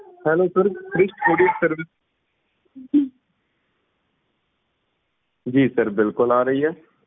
hellosir ਸ੍ਰਿਸ਼ਟ courierservice ਜੀ sir ਬਿਲਕੁਲ ਆ ਰਹੀ ਏ